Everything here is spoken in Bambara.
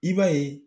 I b'a ye